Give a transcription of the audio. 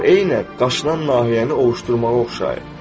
O, eynən qaşınan nahiyəni ovuşdurmağa oxşayır.